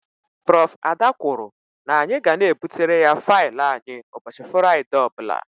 Prof.Ada kwụrụ na-anyi ga na ebutere ya faịlụ anyị ụbọchị Furaide ọbula.